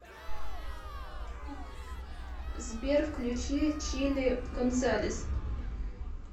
сбер включи чилли гонзалес